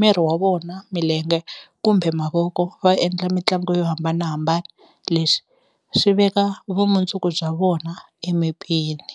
miri wa vona milenge kumbe mavoko va endla mitlangu yo hambanahambana leswi swi veka vumundzuku bya vona emepeni.